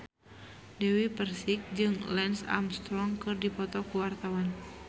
Dewi Persik jeung Lance Armstrong keur dipoto ku wartawan